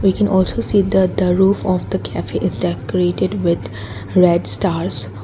we can also see that the roof of the cafe is the created with red stars.